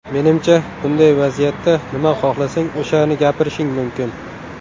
Menimcha bunday vaziyatda nima xohlasang o‘shani gapirishing mumkin.